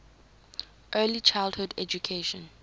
early childhood education